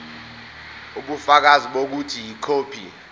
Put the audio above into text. ubufakazi bokuthi ikhophi